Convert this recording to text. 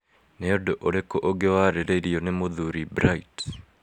Nĩ ũndũ ũrĩkũ ũngĩ warĩrĩirio nĩ mũthuri Bright?